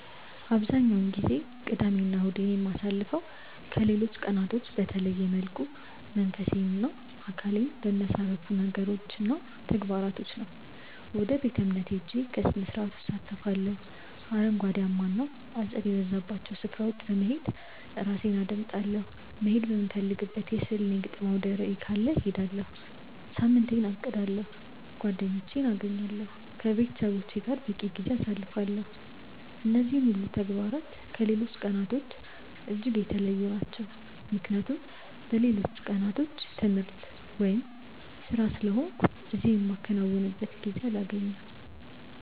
አብዛኛውን ጊዜ ቅዳሜ እና እሁዴን የማሳልፈው ከሌሎች ቀናቶች በተለየ መልኩ መንፈሴን እና አካሌን በሚያሳርፉ ነገሮች እና ተግባራቶች ነው። ወደ ቤተ-እምነት ሄጄ ከስርዓቱ እሳተፋለሁ፤ አረንጓዴያማ እና አጸድ የበዛባቸው ስፍራዎች በመሄድ ራሴን አዳምጣለሁ፤ መሄድ የምፈልግበት የሥዕል እና የግጥም አውደርዕይ ካለ እሄዳለሁ፤ ሳምንቴን አቅዳለሁ፤ ጓደኞቼን አገኛለሁ፤ ከቤተሰቦቼ ጋር በቂ ጊዜ አሳልፋለሁ። እነዚህ ሁሉ ተግባራት ከሌሎች ቀናቶች እጅግ የተለዩ ናቸው ምክንያቱም በሌሎቹ ቀናት ትምህርት ወይም ስራ ስለሆንኩ እነዚህ የማከናውንበት ጊዜ አላገኝም።